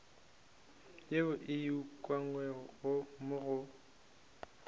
yeo e ukangwego mo go